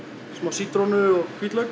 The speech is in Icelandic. smá sítrónu og hvítlauk